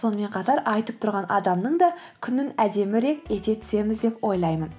сонымен қатар айтып тұрған адамның да күнін әдемірек ете түсеміз деп ойлаймын